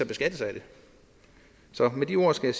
beskattes af det så med de ord skal